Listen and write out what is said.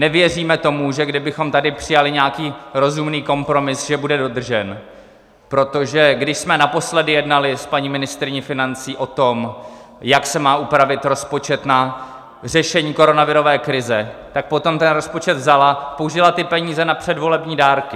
Nevěříme tomu, že kdybychom tady přijali nějaký rozumný kompromis, že bude dodržen, protože když jsme naposledy jednali s paní ministryní financí o tom, jak se má upravit rozpočet na řešení koronavirové krize, tak potom ten rozpočet vzala, použila ty peníze na předvolební dárky.